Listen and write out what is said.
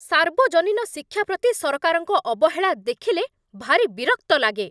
ସାର୍ବଜନୀନ ଶିକ୍ଷା ପ୍ରତି ସରକାରଙ୍କ ଅବହେଳା ଦେଖିଲେ ଭାରି ବିରକ୍ତ ଲାଗେ।